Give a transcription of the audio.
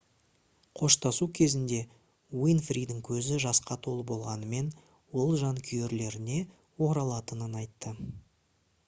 қоштасу кезінде уинфридің көзі жасқа толы болғанымен ол жанкүйерлеріне оралатынын айтты